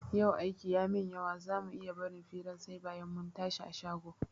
Yau aiki ya min yawa za mu iya barin firan sai bayan mun tashi a shago?